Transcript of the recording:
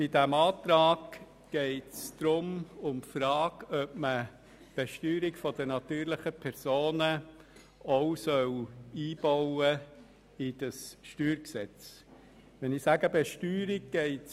Bei diesem Antrag geht es um die Frage, ob man auch die Besteuerung der natürlichen Personen in das StG einbauen soll.